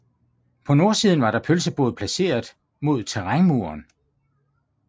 På nordsiden var der pølsebod placeret mod terrænmuren